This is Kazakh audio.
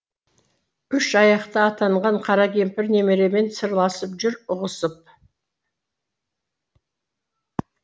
үш аяқты атанған қара кемпір немеремен сырласып жүр ұғысып